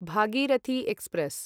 Bhagirathi express